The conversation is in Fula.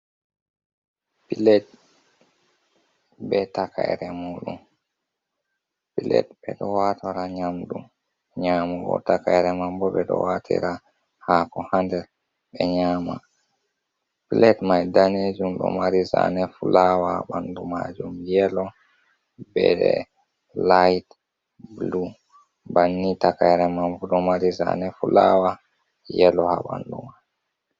Plet be takayre mun ɓe ɗo watora nyamdu nyamugo, takayere mambo ɓe ɗo watira hako ha nder ɓe nyama, pilat mai ɗanejum ɗo mari zane fulawa ha ɓanɗu majum yelo, be laih blu, bannin takayre mambo ɗo mari zane fulawa yelo ha ɓanɗu man.